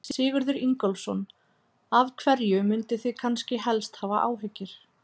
Sigurður Ingólfsson: Af hverju munduð þið kannski helst hafa áhyggjur?